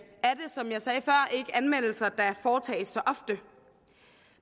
anmeldelser der foretages så ofte